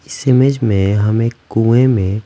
इस इमेज में हमें कुएँ में--